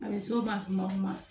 A bɛ s'o ma kuma o kuma